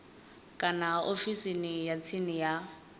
kana ofisini ya tsini ya